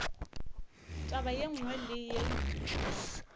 taba ye nngwe le ye